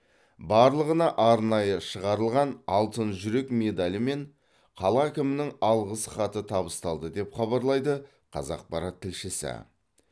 барлығына арнайы шығарылған алтын жүрек медалі мен қала әкімінің алғыс хаты табысталды деп хабарлайды қазақпарат тілшісі